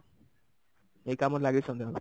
ଏଇ କାମରେ ଲାଗିଛି ସନ୍ଧ୍ୟା ବେଳୁ